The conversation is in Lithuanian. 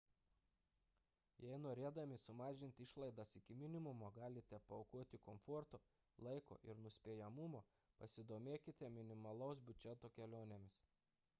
jei norėdami sumažinti išlaidas iki minimumo galite paaukoti komforto laiko ir nuspėjamumo pasidomėkite minimalaus biudžeto kelionėmis